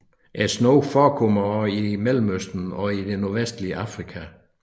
Snogen forekommer også i Mellemøsten og i det nordvestlige Afrika